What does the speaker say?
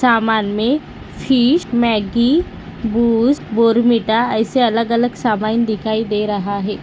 सामान में fish Maggi Boost Bournvita ऐसे अलग अलग सामान दिखाई दे रहा है।